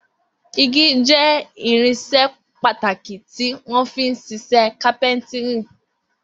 Igi jẹ́ irinṣẹ́ pàtàkì tí wọ́n fi ń ṣiṣẹ́ kápẹ́ńtírì.